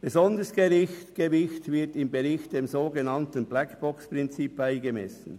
Ein besonderes Gewicht wird im Bericht dem sogenannten BlackboxPrinzip beigemessen.